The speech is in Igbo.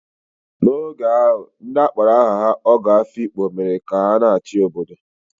N'oge ahụ, ndị a kpọrọ aha ha Ogo Afikpo mere ka a na-achị n'obodo.